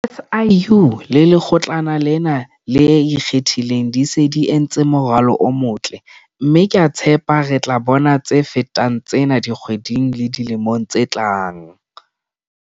SIU le Lekgotlana lena le Ikgethileng di se di entse moralo o motle, mme ke a tshepa re tla bona tse fetang tsena dikgweding le dilemong tse tlang.